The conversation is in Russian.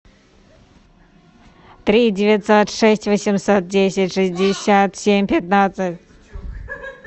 три девятьсот шесть восемьсот десять шестьдесят семь пятнадцать